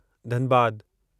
धनबादु